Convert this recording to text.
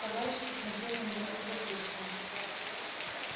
товарищ посмотрел на него с любопытством